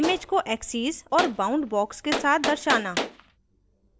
image को axes और bound box के साथ दर्शाना